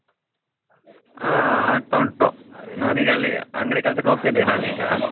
ಹಾ ಆಗ್ತಾ ಉಂಟು ನನಗಲ್ಲಿಅಂಗ್ಡಿ ಕೆಲಸಕ್ಕ ಹೋಗ್ತಿದ್ದೆ ನಾನೀಗಾ .